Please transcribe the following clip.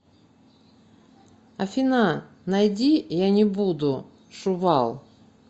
афина найди я не буду шувал